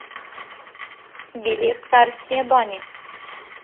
билет царские бани